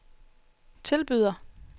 tilbyder